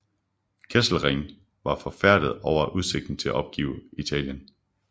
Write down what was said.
Kesselring var forfærdet over udsigten til at opgive Italien